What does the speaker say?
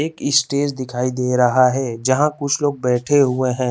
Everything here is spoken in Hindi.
एक स्टेज दिखाई दे रहा है जहाँ कुछ लोग बैठे हुए हैं।